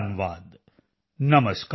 ਨਵਾਦ ਨਮਸਕਾਰ